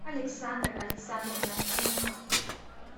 александра александровна кумка